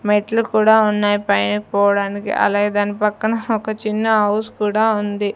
మెట్లు కూడా ఉన్నాయ్ పైన పోవడానికి అలాగే దాని పక్కన హ ఒక చిన్న ఔస్ కూడా ఉంది.